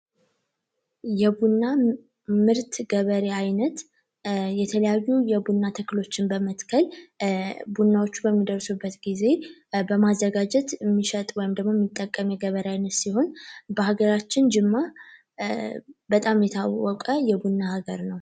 የቡና ምርት ገበሬ አይነት የተለያዩ የቡና ተክሎችን በመትከል ቡናዎች በሚደርሱበት ጊዜ በማዘጋጀት የሚሸጥ ወይም የሚጠቀም የገበሬ አይነት ሲሆን በሀገራችን ጅማ በጣም የታወቀ የቡና ሀገር ነው።